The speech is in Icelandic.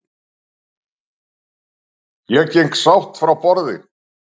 Ég geng sátt frá borði.